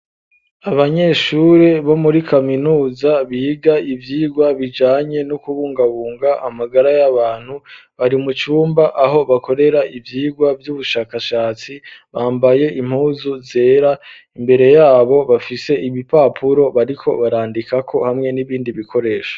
Abanyeshuri bo muri kaminuza biga ivyirwa bijanye n'ukubungabunga amagara y'abantu bari mucumba aho bakorera ivyigwa vy'ubushakashatsi bambaye impuzu zera imbere yabo bafise ibipapuro bariko barandikako hamwe n'ibindi bikoresho.